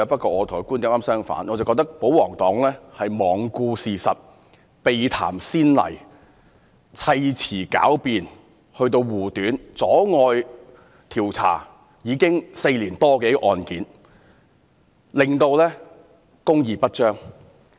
我認為保皇黨是罔顧事實、避談先例、砌詞狡辯護短，阻礙調查已有4年多的案件，令公義不彰。